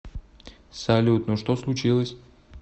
салют ну что случилось